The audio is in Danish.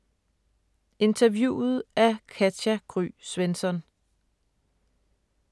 Interviewet af Katja Gry Svensson